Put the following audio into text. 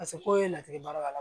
Paseke ko in ye latigɛ bara ka